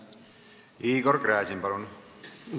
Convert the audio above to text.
Igor Gräzin, palun!